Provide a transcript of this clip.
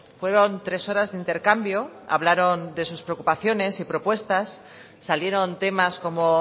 fueron tres horas de intercambio hablaron de sus preocupaciones y propuestas salieron temas como